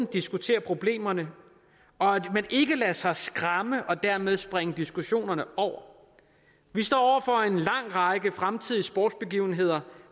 diskuterer problemerne og at man ikke lader sig skræmme og dermed springer diskussionerne over vi står for en lang række fremtidige sportsbegivenheder